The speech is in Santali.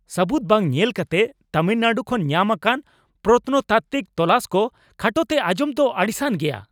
ᱥᱟᱹᱵᱩᱫ ᱵᱟᱝ ᱧᱮᱞ ᱠᱟᱛᱮ ᱛᱟᱹᱢᱤᱞᱱᱟᱰᱩ ᱠᱷᱚᱱ ᱧᱟᱢ ᱟᱠᱟᱱ ᱯᱨᱚᱛᱱᱚᱛᱟᱛᱛᱤᱠ ᱛᱚᱞᱟᱥ ᱠᱚ ᱠᱷᱟᱴᱚ ᱛᱮ ᱟᱸᱡᱚᱢ ᱫᱚ ᱟᱹᱲᱤᱥᱟᱱ ᱜᱮᱭᱟ ᱾